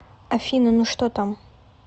афина ну что там